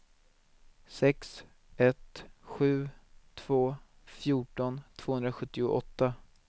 sex ett sju två fjorton tvåhundrasjuttioåtta